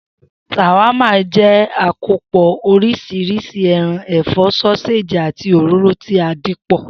S̩àwámà jé̩ àkànpò̩ orís̩irís̩i e̩ran, è̩fó̩, só̩séèjì, àti òróró tí a dì pò